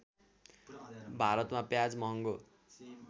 भारतमा प्याज महङ्गो